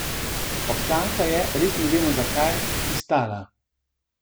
Občanka je, res ne vemo zakaj, pristala.